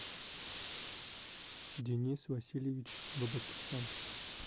денис васильевич бабакехян